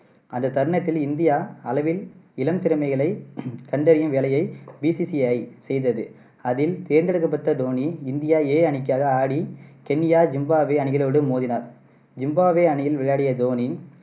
அந்த தருணத்தில் இந்தியா அளவில் இளம் திறமைகளை கண்டறியும் வேலையை BCCI செய்தது. அதில் தேர்ந்தெடுக்கப்பட்ட தோனி இந்தியா A அணிக்காக ஆடி கென்யா, ஜிம்பாப்வே அணிகளோடு மோதினார். ஜிம்பாப்வே அணியில் விளையாடிய தோனி